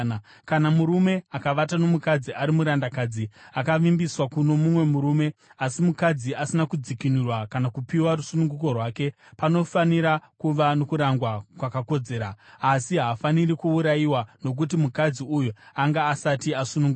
“ ‘Kana murume akavata nomukadzi ari murandakadzi akavimbiswa kuno mumwe murume, asi mukadzi asina kudzikinurwa kana kupiwa rusununguko rwake, panofanira kuva nokurangwa kwakakodzera. Asi haafaniri kuurayiwa nokuti mukadzi uyu anga asati asunungurwa.